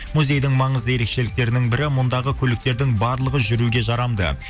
музейдің маңызды ерекшеліктерінің бірі мұндағы көліктердің барлығы жүруге жарамды